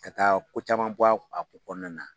Ka taa ko caman bɔ a kɔnɔna na